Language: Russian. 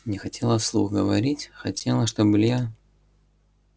не хотела вслух говорить хотела чтобы илья